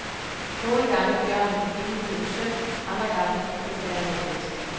Nogle gange er bjørnen himmelgudens søn, andre gange et forvandlet menneske.